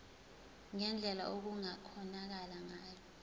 ngendlela okungakhonakala ngayo